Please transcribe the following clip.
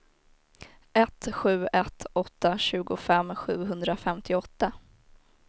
ett sju ett åtta tjugofem sjuhundrafemtioåtta